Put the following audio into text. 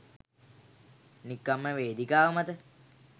නිකම්ම වේදිකාව මත